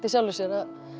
í sjálfu sér